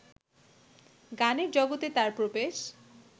গানের জগতে তার প্রবেশ